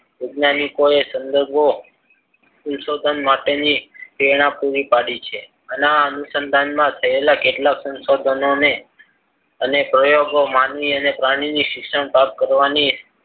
વૈજ્ઞાનિકોએ સંદર્ભો સંશોધન માટેની પ્રેરણા પૂરી પાડી છે. આના અનુસંધાનમાં રહેલા કેટલાક સંશોધનોને અને પ્રયોગો માનવી અને પ્રાણીની શિક્ષણ પ્રાપ્ત કરવાની